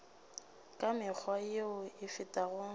ka mekgwa yeo e fetago